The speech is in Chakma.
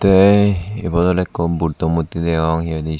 tey ebot oley eko buddha murti degong he hoi dey swot.